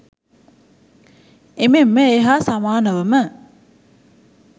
එමෙන්ම ඒ හා සමානවම